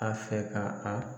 An fɛ ka an